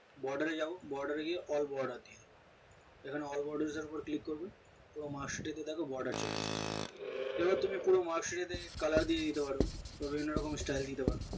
border রে যাও border এ গিয়ে all boarder দিও এখানে all border এ click করবে তো marks এ দেখো border চলে এসেছে এবার তুমি কিভাবে marksheet এ colour দিয়ে দিতে পারো বা বিভিন্ন রকম style দিতে পারো